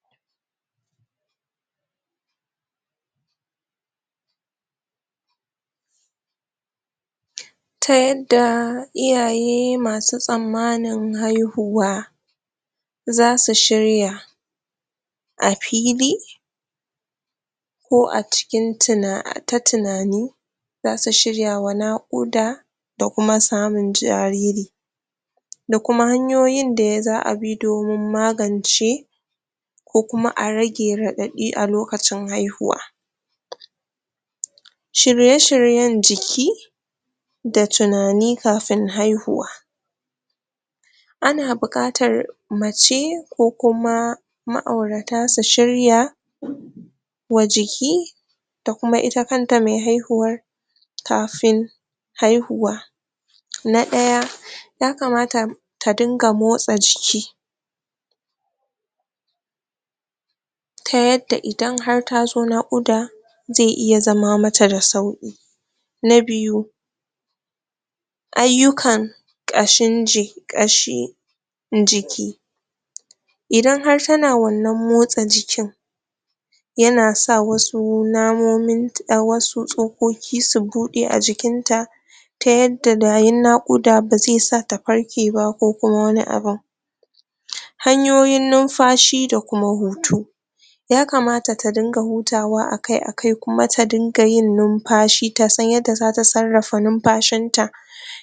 ? Ta yadda iyaye masu tsammanin haihuwa za su shirya a fili ko cikin tuna ta tunani za su shirwa naƙuda da kuma samun jariri da kuma hanyoyin da ya za a bi domin magance ko kuma a rage raɗaɗi a lokacin haihuwa?? shirye-shiryen jiki da tunani kafin haihuwa ana buƙatar mace ko kuma ma'aurata su shirya? wa jiki da kuma ita kan me haihuwar kafin haihuwa na ɗaya ya kamata ta dinga motsa jiki ta yadda idan har ta zo naƙuda zai iya zama mata da sauƙi. Na biyu ayyukan ayyukan ƙashin ji ƙashi jiki? idan har tana wannan motsa jikin yana sa wasu namomin wasu tsokoki su buɗe a jikinta ta yadda bayan naƙuda ba zai sa ta farke ba ko kuma wani abin hanyoyin nunfashi da kuma hutu ya kamata ta dinga hutawa akai-akai kuma ta dinga yin numfashi ta sana yadda zata sarrafa numfashinta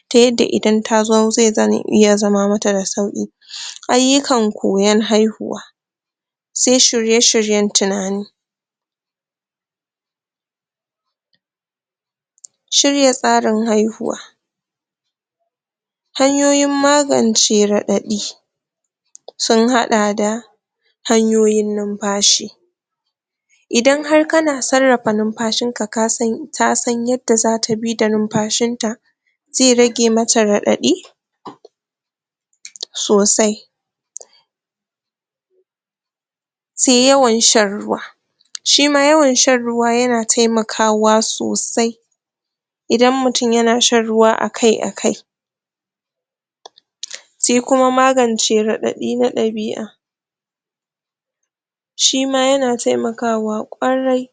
ta yadda idan ta zo zai zame iya zama mata da sauƙi ayyukan koyon haihuwa sai shirye-shiyen tunani? shirya tsarin haihuwa hanyoyin magance raɗaɗi? sun haɗa da hanyoyin numfashi idan har kana sarrafa numfashinka kasan tasan yadda zata bi da numfashinta zai rage mata raɗaɗi?? sosai? sai yawan shan ruwa shi ma yawan shan ruwa yana taimakawa sosai idan mutum yana shan ruwa akai-akai? sai kuma magance raɗaɗin na ɗabi'a shi ma yana taimakawa kwarai